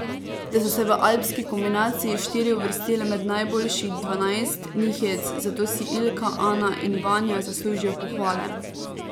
Da so se v alpski kombinaciji štiri uvrstile med najboljših dvanajst, ni hec, zato si Ilka, Ana in Vanja zaslužijo pohvale.